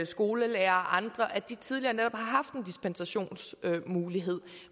skolelærere og andre at de tidligere har dispensationsmulighed